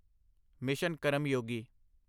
mission Karmayogi